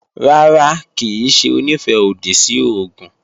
Rárá, kì í ṣe Onífẹ́-òdì sí oògùn